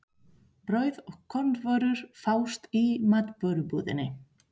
Brauð og kornvörur fást í matvörubúðinni.